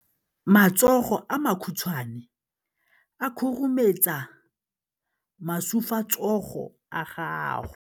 Matsogo a makhutshwane a khurumetsa masufutsogo a gago.